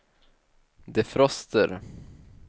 defroster